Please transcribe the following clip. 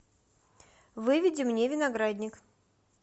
выведи мне виноградник